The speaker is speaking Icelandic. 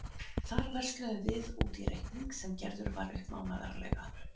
Þar versluðum við út í reikning sem gerður var upp mánaðarlega.